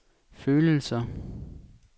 følelser